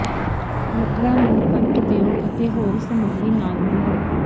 ਲੱਕੜਾਂ ਨੂੰ ਕੱਟ ਦਿਓ ਅਤੇ ਹੋਰ ਸਮੱਗਰੀ ਨਾਲ ਮਿਲਾਓ